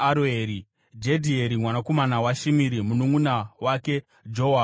Jedhieri mwanakomana waShimiri, mununʼuna wake Joha muTizi,